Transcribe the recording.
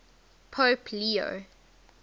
pope leo